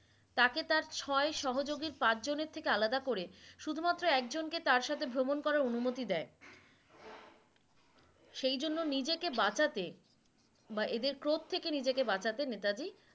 তাকে তার ছয় সহযোগী পাঁচজনের থেকে আলাদা করে শুধুমাত্র একজনকে তার সাথে ভ্রমন করার অনুমতি দেয় সে জন্য নিজেকে বাঁচাতে বা এদের প্রত্যেকে নিজেকে বাঁচাতে নেতাজি